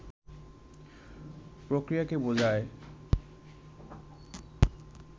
প্রক্রিয়াকে বোঝায়